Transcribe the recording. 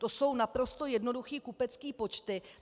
To jsou naprosto jednoduché kupecké počty.